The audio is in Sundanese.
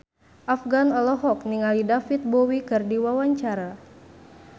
Afgan olohok ningali David Bowie keur diwawancara